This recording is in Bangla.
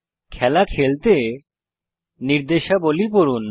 খেলা খেলতে নির্দেশাবলী পড়ুন